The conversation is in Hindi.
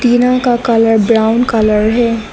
टीना का कलर ब्राउन कलर है।